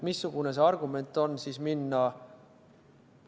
Missugune see argument on siis?